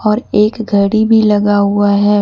और एक घड़ी भी लगा हुआ है।